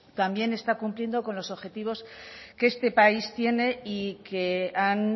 también está cumpliendo con los objetivos que este país tiene y que han